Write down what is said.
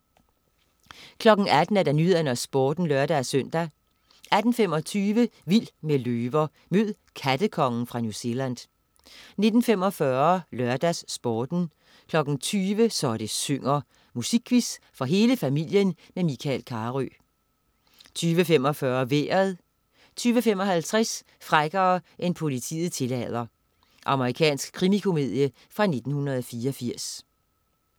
18.00 Nyhederne og Sporten (lør-søn) 18.25 Vild med løver. Mød "kattekongen" fra New Zealand 19.45 LørdagsSporten 20.00 Så det synger. Musikquiz for hele familien med Michael Carøe 20.45 Vejret 20.55 Frækkere end politiet tillader. Amerikansk krimikomedie fra 1984